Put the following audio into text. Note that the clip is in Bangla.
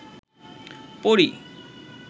পরী